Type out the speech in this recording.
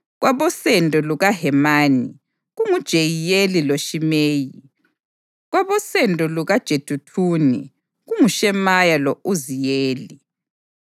kwabosendo lukaHemani, kunguJehiyeli loShimeyi; kwabosendo lukaJeduthuni, kunguShemaya lo-Uziyeli.